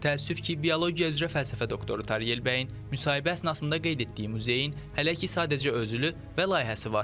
Təəssüf ki, biologiya üzrə fəlsəfə doktoru Tariyel Kəleyin müsahibə əsnasında qeyd etdiyi muzeyin hələ ki sadəcə özülü və layihəsi var.